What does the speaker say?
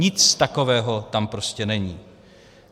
Nic takového tam prostě není.